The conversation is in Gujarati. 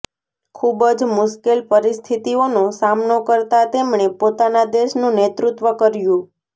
ખૂબ જ મુશ્કેલ પરિસ્થિતિઓનો સામનો કરતા તેમણે પોતાના દેશનું નેતૃત્વ કર્યું